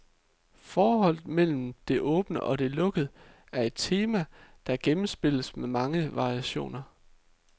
Forholdet mellem det åbne og det lukkede er et tema, der gennemspilles med mange variationer.